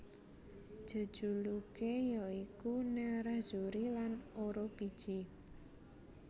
Jejuluké ya iku Nerrazzuri lan Orobici